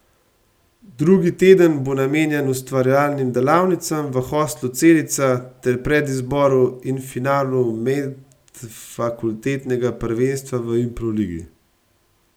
Drugi teden bo namenjen ustvarjalnim delavnicam v Hostlu Celica ter predizboru in finalu medfakultetnega prvenstva v improligi.